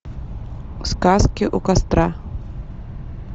сказки у костра